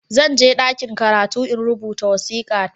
Zan je ɗakin karatu in rubuta wasika ta